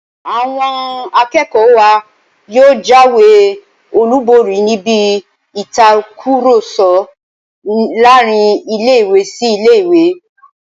Àwọn akẹ́kọ̀ọ́ wa yóò jáwé olùborí níbi ìtakùrọ̀sọ láàrin ilé-ìwé sí ilé-ìwé náà